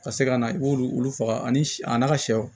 Ka se ka na i b'olu faga ani a n'a ka sɛw